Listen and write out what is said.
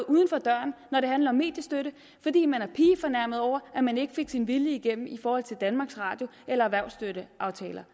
man det handler om mediestøtte fordi man er pigefornærmet over at man ikke fik sin vilje igennem i forhold til danmarks radio eller erhvervsstøtteaftaler